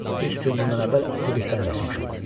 Üç gün bundan əvvəl əsirlikdən qaçmışam.